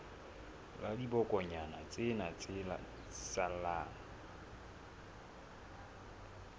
la dibokonyana tsena tse salang